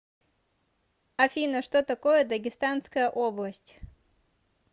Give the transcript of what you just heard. афина что такое дагестанская область